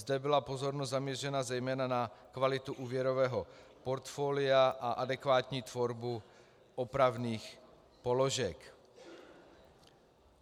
Zde byla pozornost zaměřena zejména na kvalitu úvěrového portfolia a adekvátní tvorbu opravných položek.